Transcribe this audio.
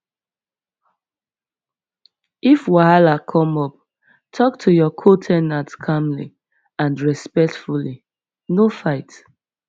if wahala come up talk to your co ten ant calmly and respectfully no fight